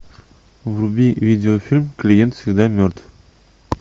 вруби видеофильм клиент всегда мертв